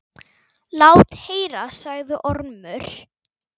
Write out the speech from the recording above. Lát heyra, sagði Ormur.